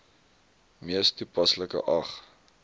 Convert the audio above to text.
mees toepaslike ag